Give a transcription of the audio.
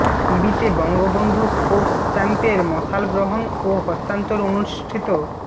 ইবিতে Bangabandhu sports চ্যাম্পের মশাল গ্রহণ ও হস্তান্তর অনুষ্ঠিত